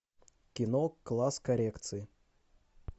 кино класс коррекции